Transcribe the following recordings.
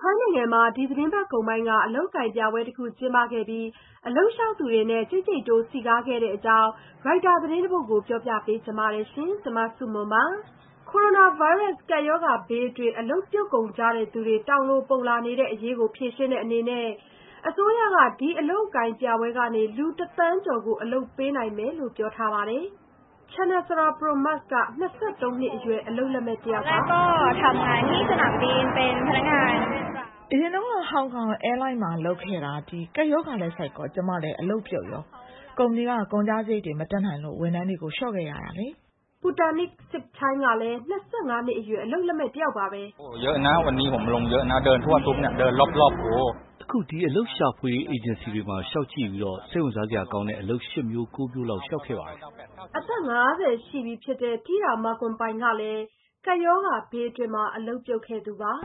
ထိုင်းနိုင်ငံမှာ ဒီသီတင်းပတ်ကုန်ပိုင်းက ဖွင့်ခဲ့တဲ့ အလုပ်အကိုင်ပြပွဲမှာ အလုပ်လျှောက်သူတွေနဲ့ ကြိတ်ကြိတ်တိုး စည်ကားခဲ့တဲ့အကြောင်း Reuters သတင်းတပုဒ်ကို မဆုမွန် တင်ပြပေးထားပါတယ်။ ကိုရိုနာဗိုင်းရပ်စ် ကပ်ရောဂါဘေးအတွင်း အလုပ်ပြုတ်ကုန်ကြသူတွေ တောင်လိုပုံလာနေတဲ့အရေးကို ဖြေရှင်းတဲ့အနေနဲ့ အစိုးရက ဒီအလုပ်အကိုင်ပြပွဲကနေ လူ ၁ သန်းကျော်ကို အလုပ်ပေးနိုင်မယ်လို့ ပြောထားပါတယ်။ ချာနစ္စာရာ ပရွန်မာ့စ်က ၂၃ နှစ်အရွယ် အလုပ်လက်မဲ့ တယောက်ပါ။ “အရင်တုန်းက ဟောင်ကောင်အဲယားလိုင်းမှာ လုပ်ခဲ့တာကနေ ကပ်ရောဂါဆိုက်တော့ ကျမ အလုပ်ပြုတ်သွားပါတယ်။ ကုမ္ပဏီက ကုန်ကျစရိတ် မတတ်နိုင်လို့ ဝန်ထမ်းတွေကို လျှော့ချခဲ့တာပါ။” ပူတာ့နီးစ် စစ်ပ်ချိုင်းကလည်း ၂၅ နှစ်အရွယ် အလုပ်လက်မဲ့ပါပဲ။ “အခု ဒီ အလုပ်ရှာဖွေရေး အေဂျင်စီတွေမှာ လျှောက်ကြည့်ပြီး စိတ်ဝင်စားစရာကောင်းတဲ့ အလုပ် ၈ မျိုး၊ ၉ မျိုးလောက် လျှောက်ခဲ့ပါတယ်။” အသက် ၅၀ ရှိပြီဖြစ်တဲ့ တီးရာ မာဂွမ်ပိုင်ကလည်း ကပ်ရောဂါဘေးအတွင်း အလုပ်ပြုတ်ခဲ့သူပါ။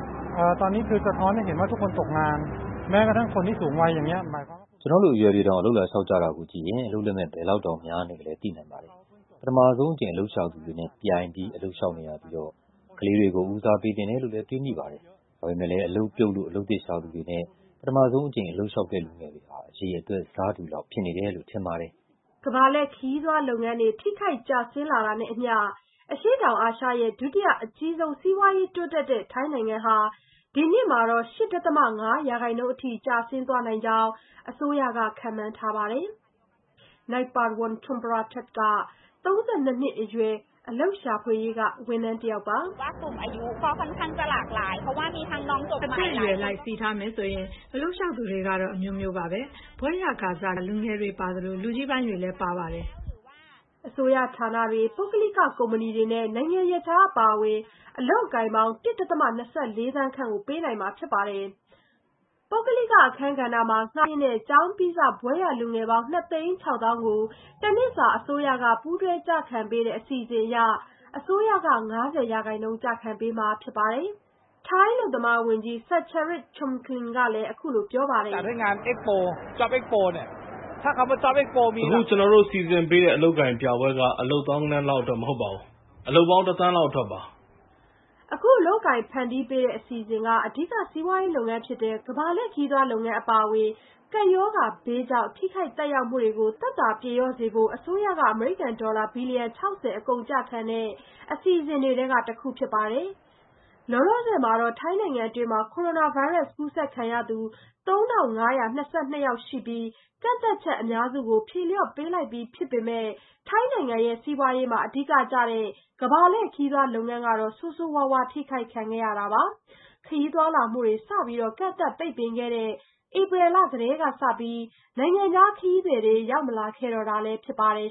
“ကျနော့်လိုအရွယ်တွေတောင် အလုပ်လာလျှောက်တာကိုကြည့်ရင် အလုပ်လက်မဲ့ ဘယ်လောက်တောင်များနေလဲ သိနိုင်ပါတယ်။ ပထမဆုံး အလုပ်ရှာသူတွေနဲ့ ပြိုင်ပြီး အလုပ်လျှောက်နေရပြီး ကလေးတွေကို ဦးစားပေးသင့်တယ်လို့လည်း တွေးမိပါတယ်။ ဒါပေမယ့်လည်း အလုပ်ပြုတ်လို့ အလုပ်သစ်ရှာသူတွေနဲ့ ပထမဆုံး အလုပ်လျှောက်တဲ့ လူငယ်တွေဟာ အရေအတွက် ဆတူလောက်ဖြစ်နေတယ်လို့ ထင်ပါတယ်။” ကမ္ဘာလှည့်ခရီးသွားလုပ်ငန်းတွေ ထိခိုက်ကျဆင်းလာတာနဲ့အမျှ အရှေ့တောင်အာရှရဲ့ ဒုတိယအကြီးဆုံး စီးပွားရေးတိုးတက်တဲ့ ထိုင်းနိုင်ငံဟာ ဒီနှစ်မှာတော့ ၈.၅ ရာခိုင်နှုန်းအထိ ကျဆင်းသွားနိုင်ကြောင်း အစိုးရက ခန့်မှန်းထားပါတယ်။ နိုပ်ပါဝန် ချန်ပရာတတ်ဒ်က ၃၂ နှစ်အရွယ် အလုပ်ရှာဖွေရေးက ဝန်ထမ်းတယောက်ပါ။ “အသက်အရွယ်အလိုက် စီထားမယ်ဆို အလုပ်လျှောက်သူတွေကတော့ အမျိုးမျိုးပါပဲ။ ဘွဲ့ရကာစ လူငယ်တွေပါသလို လူကြီးပိုင်းတွေလည်း ပါပါတယ်။” အစိုးရဌာနတွေ၊ ပုဂ္ဂလိက ကုမ္ပဏီတွေနဲ့ နိုင်ငံရပ်ခြား အပါအဝင် အလုပ်အကိုင်ပေါင်း ၁.၂၄ သန်းခန့် ပေးနိုင်မှာဖြစ်ပါတယ်။ ပုဂ္ဂလိက အခန်းကဏ္ဍမှာ ငှားရမ်းတဲ့ ကျောင်းပြီးစ ဘွဲ့ရလူငယ်ပေါင်း ၂ သိန်း ၆ သောင်းကို တနှစ်စာ အစိုးရက ပူးတွဲကျခံပေးတဲ့ အစီအစဉ်အရ အစိုးရက ၅၀ ရာခိုင်နှုန်း ကျခံပေးမှာ ဖြစ်ပါတယ်။ ထိုင်းအလုပ်သမားဝန်ကြီး ဆပ်ချရတ် ချွမ်ကလင်ကလည်း အခုလို ပြောပါတယ်။ “အခု ကျနော်တို့ စီစဉ်ပေးတဲ့ အလုပ်အကိုင်ပြပွဲက အလုပ် သောင်းဂဏန်းလောက်အတွက် မဟုတ်ပါဘူး။ အလုပ်ပေါင်း ၁ သန်းလောက်အတွက်ပါ။” အခု အလုပ်အကိုင် ဖန်တီးပေးတဲ့ အစီအစဉ်ဟာ အဓိက စီးပွားရေးလုပ်ငန်းဖြစ်တဲ့ ကမ္ဘာလှည့်ခရီးသွားလုပ်ငန်း အပါအဝင် ကပ်ရောဂါဘေးကြောင့် ထိခိုက်သက်ရောက်မှုတွေကို သက်သာပြေလျော့စေဖို့ အစိုးရက အမေရိကန်ဒေါ်လာ ဘီလီယံ ၆၀ အကုန်အကျခံတဲ့ အစီအစဉ်တွေထဲက တခုဖြစ်ပါတယ်။ လောလောဆယ်မှာ ထိုင်းနိုင်ငံအတွင်း ကိုရိုနာဗိုင်းရပ်စ် ကူးစက်ခံရသူ ၃,၅၂၂ ယောက် ရှိထားပြီး ကန့်သတ်ချက်အများစုကို ဖြေလျှော့ပေးလိုက်ပြီး ဖြစ်ပေမယ့် ထိုင်းနိုင်ငံစီးပွားရေးမှာ အဓိကကျတဲ့ ကမ္ဘာလှည့်ခရီးသွား လုပ်ငန်းကတော့ ဆိုးဆိုးဝါးဝါး ထိခိုက်ခဲ့ရတာပါ။ ခရီးသွားလာမှုတွေကို စပြီး ကန့်သတ်ပိတ်ပင်ခဲ့တဲ့ ဧပြီလကတည်းကစပြီး နိုင်ငံခြားခရီးသည်တွေ ရောက်မလာခဲ့တော့တာလည်း ဖြစ်ပါတယ်